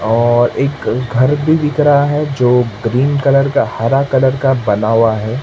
और एक घर भी दिख रहा है जो ग्रीन कलर का हरा कलर का बना हुआ है।